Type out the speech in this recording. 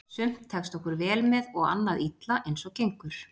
Sumt tekst okkur vel með og annað illa eins og gengur.